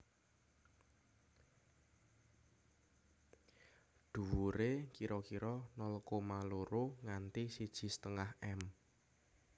Dhuwuré kira kira nol koma loro nganti siji setengah m